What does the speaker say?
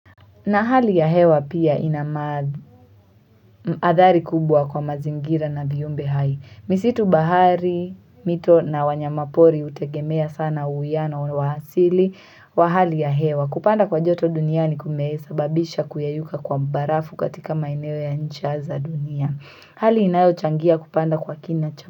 Na hali ya hewa pia ina athari kubwa kwa mazingira na viumbe hai. Misitu bahari, mito na wanyama pori hutegemea sana uwiano wa asili. Wa hali ya hewa. Kupanda kwa joto duniani kumesababisha kuyeyuka kwa barafu katika maeneo ya ncha za dunia. Hali inayo changia kupanda kwa kina cha.